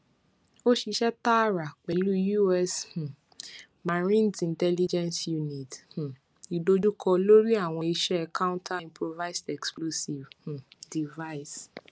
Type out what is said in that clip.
o ṣiṣẹ taara pẹlu us um marines intelligence unit um idojukọ lori awọn iṣẹ counter improvised explosive um device